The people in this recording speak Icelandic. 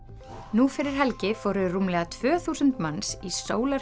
nú fyrir helgi fóru rúmlega tvö þúsund manns í